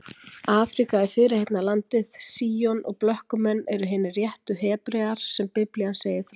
Afríka er fyrirheitna landið, Síon, og blökkumenn eru hinir réttu Hebrear sem Biblían segir frá.